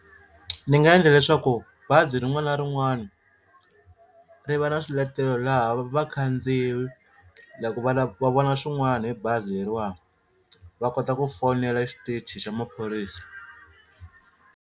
Ni nga endla leswaku bazi rin'wana na rin'wana ri va na swiletelo laha vakhandziyi loko va vona swin'wana hi bazi leriwani va kota ku fonela xitichi xa maphorisa.